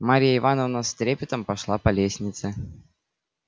марья ивановна с трепетом пошла по лестнице